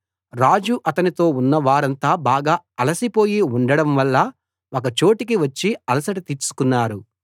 రాజు అతనితో ఉన్నవారంతా బాగా అలసిపోయి ఉండడంవల్ల ఒక చోటికి వచ్చి అలసట తీర్చుకున్నారు